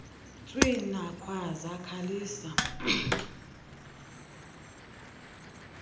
tswina khwaza khalisa